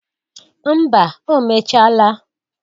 Mba o mechaala